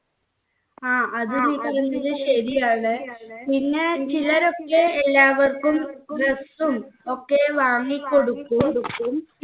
ആ അത് നീ പറഞ്ഞത് ശരിയാണ് പിന്നെ ചിലരൊക്കെ എല്ലാവർക്കും dress ഉം ഒക്കെയും വാങ്ങി കൊടുക്കും